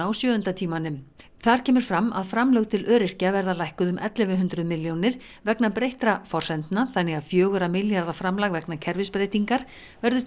á sjöunda tímanum þar kemur fram að framlög til öryrkja verði lækkuð um ellefu hundruð milljónir vegna breyttra forsendna þannig að fjögurra milljarða framlag vegna kerfisbreytingar verður